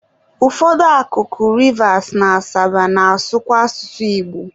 ụfọdụ akụkụ Rivas na Asaba na-asụkwa asụsụ Igbo.